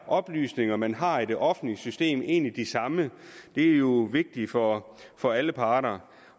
oplysninger man har i det offentlige system egentlig de samme det er jo vigtigt for for alle parter